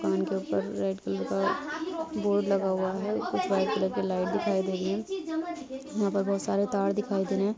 red colour board लगा हुआ है यहां पर